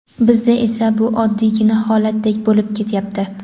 Bizda esa bu oddiygina holatdek bo‘lib ketyapti.